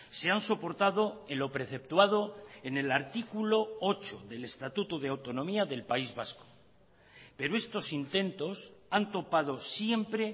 se han soportado en lo preceptuado en el artículo ocho del estatuto de autonomía del país vasco pero estos intentos han topado siempre